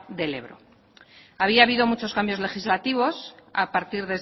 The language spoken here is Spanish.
del ebro había habido muchos cambios legislativos a partir